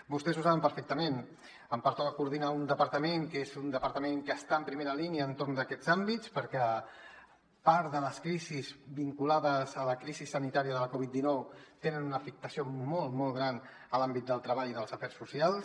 vostès ho saben perfectament em pertoca coordinar un departament que és un departament que està en primera línia entorn d’aquests àmbits perquè part de les crisis vinculades a la crisi sanitària de la covid dinou tenen una afectació molt molt gran en l’àmbit del treball i dels afers socials